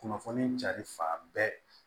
Kunnafoni cari fan bɛɛ